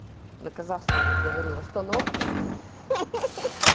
на казахском говорил остановке